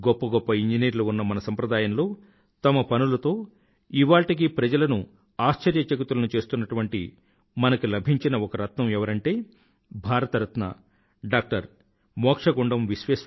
గొప్ప గొప్ప ఇంజనీర్లు ఉన్న మన సంప్రదాయంలో తన పనులతో ఇవాళ్టికీ ప్రజలను ఆశ్చర్యచకితులను చేస్తున్నటువంటి మనకి లభించిన ఒక రత్నం ఎవరంటే భారతరత్న డాక్టర్ ఎం